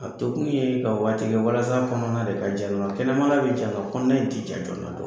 A tɔ kun yee ka waati kɛ walas'a kɔnɔna de ka ja dona. Kɛnɛmala be ja ka kɔnɔna in ti ja joona